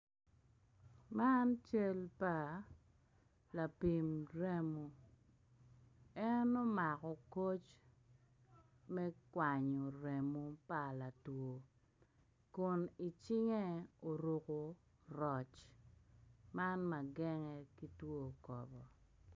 Man cal pa lapim remo en omako koc me kwanyo rmo pa latwo kun icinge oruko roc man ma genge ki two kobo.